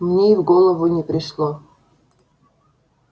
мне и в голову не пришло